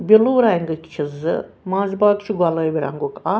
blue رنٛگٕک چھ زٕ منٛزباگ چھ گۄلٲبۍ رنٛگُک اکھ